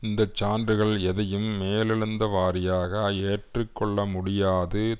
இந்த சான்றுகள் எதையும் மேலெழுந்த வாரியாக ஏற்றுக்கொள்ள முடியாது